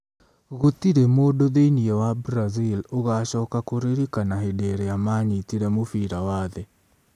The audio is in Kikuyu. Gũtirĩ mũndũ thĩinĩ wa Brazil ũgacoka kũririkana hĩndĩ ĩrĩa maanyitire mũbira wa thĩ.